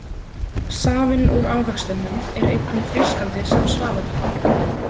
Safinn úr ávextinum er einnig frískandi sem svaladrykkur.